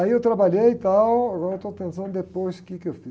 Aí eu trabalhei e tal, agora eu estou pensando depois o quê que eu fiz.